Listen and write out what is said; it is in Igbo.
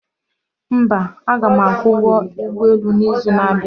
mba, aga m akwụ ụgwọ ụgbọ elu n'izu na-abịa